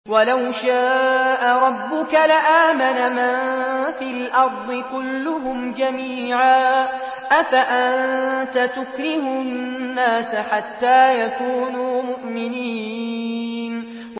وَلَوْ شَاءَ رَبُّكَ لَآمَنَ مَن فِي الْأَرْضِ كُلُّهُمْ جَمِيعًا ۚ أَفَأَنتَ تُكْرِهُ النَّاسَ حَتَّىٰ يَكُونُوا مُؤْمِنِينَ